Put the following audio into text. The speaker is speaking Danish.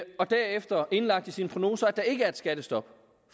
og derefter har indlagt i sine prognoser at der ikke er et skattestop